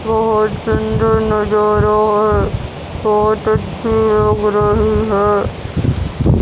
बहोत सुंदर नजारा है बहोत अच्छी लग रही है।